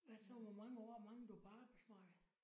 Hvad så hvor mange år mangler du på arbejdsmarkedet?